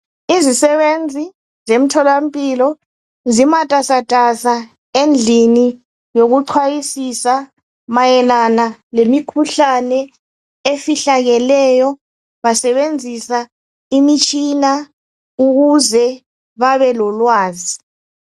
Izizisebenzi zemtholampilo. Zimatasatasa, endlini yokuxwayisisa , mayelana lemikhuhlane efihlakeleyo. Basebenzisa imitshina ukuze babe lolwazi.